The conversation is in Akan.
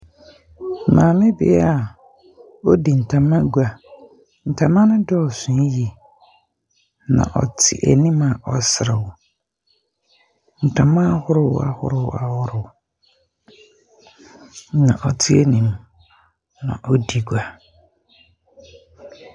Maame bea a odi ntama gua. Ntamano dɔɔso yie, nɔ ɔte anim a ɔreserew. Ntama ahorow ahorow ahorow na ɔte anim, na ɔredi gua.